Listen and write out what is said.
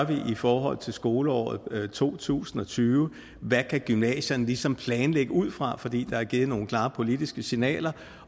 i forhold til skoleåret to tusind og tyve hvad gymnasierne ligesom kan planlægge ud fra fordi der er givet nogle klare politiske signaler